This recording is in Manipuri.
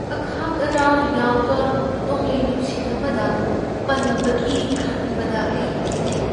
ꯑꯈꯥꯛ ꯑꯔꯥꯎ ꯌꯥꯎꯕ ꯅꯣꯡꯂꯩ ꯅꯨꯡꯁꯤꯠ ꯑꯃꯗ ꯄꯟꯕꯒꯤ ꯈꯟꯕꯗ ꯑꯩ ꯀꯤꯖꯩ꯫